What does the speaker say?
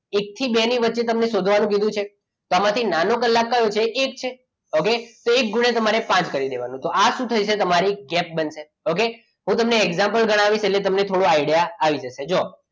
એક થી બે ની વચ્ચે તમને શોધવાનું કીધું છે તેમાંથી નાનો કલાક કયો છે એક છે okay તો એક ગુણ્યા તમારે પાંચ કરી દેવાનો તો આ શું થયું તમારી કેપ બનશે ઓકે તો હું તમને example કરાવીશ એટલે તમને થોડો idea આવી જશે જો